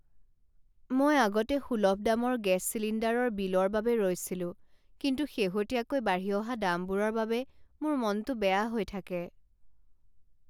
মই আগতে সূলভ দামৰ গেছ চিলিণ্ডাৰৰ বিলৰ বাবে ৰৈছিলোঁ কিন্তু শেহতীয়াকৈ বাঢ়ি অহা দামবোৰৰ বাবে মোৰ মনটো বেয়া হৈ থাকে।